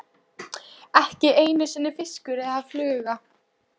Ekki einu sinni fiskur eða fluga.